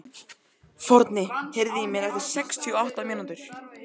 Forni, heyrðu í mér eftir sextíu og átta mínútur.